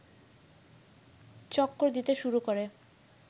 চক্কর দিতে শুরু করে